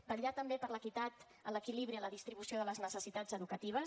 vetllar també per l’equitat en l’equilibri en la distribució de les necessitats educatives